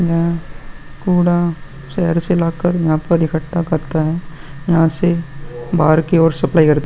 यह कूड़ा शहर से ला कर यहाँ पर इकक्ठा करता है। यहाँ से बाहर की और सप्लाई करता --